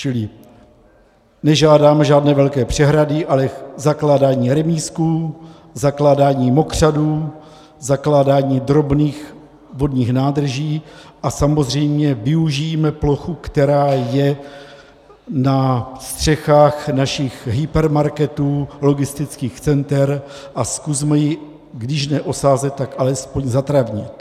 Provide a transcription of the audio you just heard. Čili nežádáme žádné velké přehrady, ale zakládání remízků, zakládání mokřadů, zakládání drobných vodních nádrží a samozřejmě využijme plochu, která je na střechách našich hypermarketů, logistických center a zkusme ji, když ne osázet, tak alespoň zatravnit.